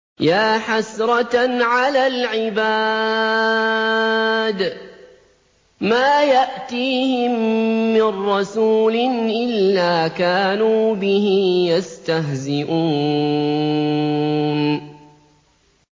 يَا حَسْرَةً عَلَى الْعِبَادِ ۚ مَا يَأْتِيهِم مِّن رَّسُولٍ إِلَّا كَانُوا بِهِ يَسْتَهْزِئُونَ